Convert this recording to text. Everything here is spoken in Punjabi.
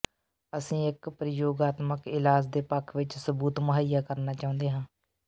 ਅਸੀਂ ਇੱਕ ਪ੍ਰਯੋਗਾਤਮਕ ਇਲਾਜ ਦੇ ਪੱਖ ਵਿੱਚ ਸਬੂਤ ਮੁਹੱਈਆ ਕਰਨਾ ਚਾਹੁੰਦੇ ਹਾਂ